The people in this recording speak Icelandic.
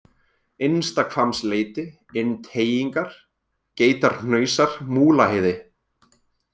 Innstahvammsleiti, Innteygingar, Geitarhnausar, Múlaheiði